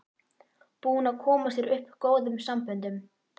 Búinn að koma sér upp góðum samböndum.